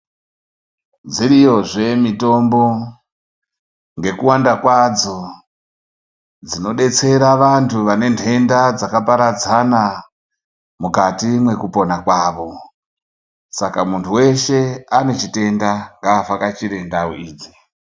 Dziriyozve mitombo ngekuwanda kwadzo dzinodetsera vantu vane ndenda dzakaparadzana mukati mwekupona kwavo. Saka muntu weshe anechitenda ngaavhakachire ndau idzi.